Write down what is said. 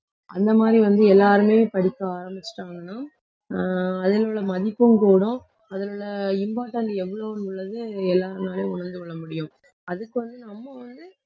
அந்த மாதிரி வந்து, எல்லாருமே படிக்க ஆரம்பிச்சுட்டாங்கன்னா ஆஹ் அதில் உள்ள மதிப்பும் கூடும் அதில் உள்ள important எவ்வளவுன்னு உள்ளது எல்லார்னாலயும் உணர்ந்து கொள்ள முடியும் அதுக்கு வந்து நம்ம வந்து